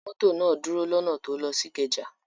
Mọ́tò náà dúró lọ́nà tó ń lọ sí Ìkẹjà.